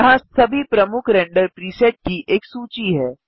यहाँ सभी प्रमुख रेंडर प्रीसेट की एक सूची है